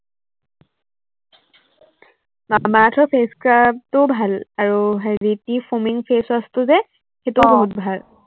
মামা আৰ্থৰ face scrub টোও ভাল আৰু হেৰি tea foaming face wash টো যে আহ সেইটোও বহুত ভাল